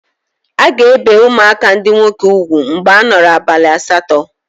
A ga-ebe ụmụaka ndị nwoke ugwu mgbe a nọrọ abalị asatọ.